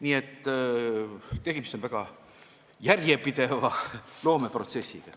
Nii et tegemist on väga järjepideva loomeprotsessiga.